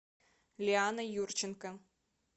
лиана юрченко